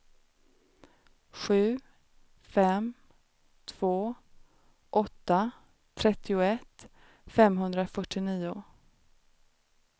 sju fem två åtta trettioett femhundrafyrtionio